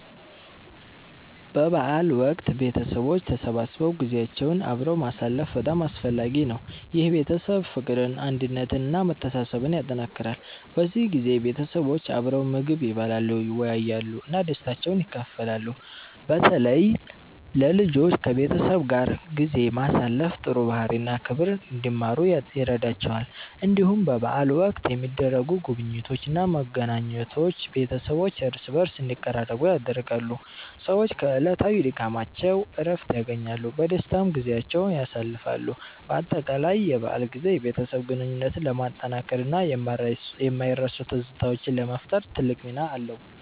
በበዓል ወቅት ቤተሰቦች ተሰብስበው ጊዜያቸውን አብረው ማሳለፍ በጣም አስፈላጊ ነው። ይህ የቤተሰብ ፍቅርን፣ አንድነትን እና መተሳሰብን ያጠናክራል። በዚህ ጊዜ ቤተሰቦች አብረው ምግብ ይበላሉ፣ ይወያያሉ እና ደስታቸውን ይካፈላሉ። በተለይ ለልጆች ከቤተሰብ ጋር ጊዜ ማሳለፍ ጥሩ ባህሪ እና ክብር እንዲማሩ ይረዳቸዋል። እንዲሁም በበዓል ወቅት የሚደረጉ ጉብኝቶች እና መገናኘቶች ቤተሰቦች እርስ በርስ እንዲቀራረቡ ያደርጋሉ። ሰዎች ከዕለታዊ ድካማቸው እረፍት ያገኛሉ፣ በደስታም ጊዜያቸውን ያሳልፋሉ። በአጠቃላይ የበዓል ጊዜ የቤተሰብ ግንኙነትን ለማጠናከር እና የማይረሱ ትዝታዎችን ለመፍጠር ትልቅ ሚና አለው።